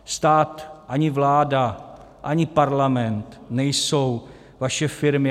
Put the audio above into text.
Stát, ani vláda, ani Parlament nejsou vaše firmy.